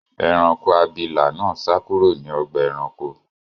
Ẹranko abilà náà sá kúrò ní ọgbà-ẹranko.